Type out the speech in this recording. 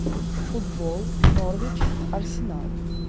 футбол норвич арсенал